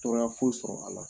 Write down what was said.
Tora foyi sɔrɔ a la